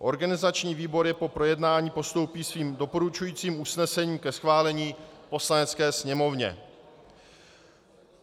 Organizační výbor je po projednání postoupí svým doporučujícím usnesením ke schválení Poslanecké sněmovně.